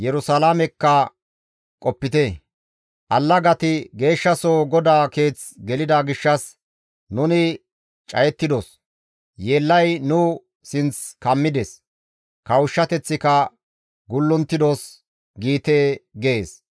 «Allagati geeshshasoho GODAA Keeth gelida gishshas, ‹Nuni cayettidos; yeellay nu sinth kammides; kawushshateththika gulluntidos› giite» gees.